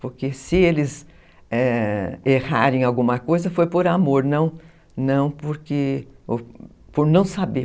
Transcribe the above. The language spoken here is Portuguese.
Porque se eles errarem em alguma coisa, foi por amor, não não por não saber.